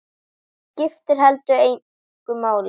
Það skipti heldur engu máli.